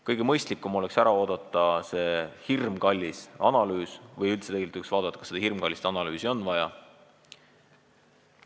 Kõige mõistlikum oleks ära oodata selle hirmkalli analüüsi valmimine või tegelikult üldse vaadata, kas seda hirmkallist analüüsi on vaja.